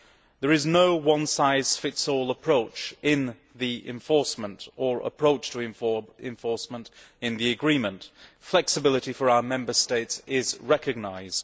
There is no one size fits all approach in the enforcement, or approach to enforcement, in the agreement. Flexibility for our Member States is recognised